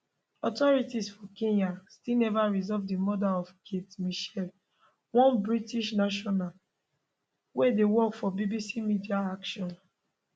authorities for kenya still neva resolve di murder of kate mitchell one british national wey dey work for bbc media action